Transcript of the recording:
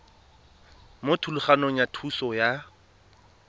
mo thulaganyong ya thuso y